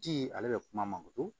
Ji ale bɛ kuma mankoro